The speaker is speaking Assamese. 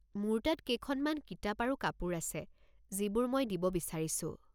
মোৰ তাত কেইখনমান কিতাপ আৰু কাপোৰ আছে যিবোৰ মই দিব বিচাৰিছোঁ।